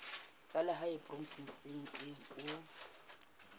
tsa lehae provinseng eo o